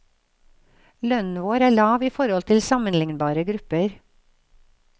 Lønnen vår er lav i forhold til sammenlignbare grupper.